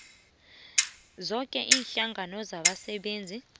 zoke iinhlangano zabasebenzi